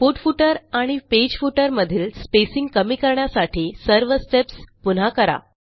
report footer आणि page footer मधील spacing कमी करण्यासाठी सर्वsteps पुन्हा करा